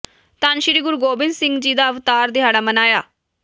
ਧੰਨ ਸ੍ਰੀ ਗੁਰੂ ਗੋਬਿੰਦ ਸਿੰਘ ਜੀ ਦਾ ਅਵਤਾਰ ਦਿਹਾੜਾ ਮਨਾਇਆ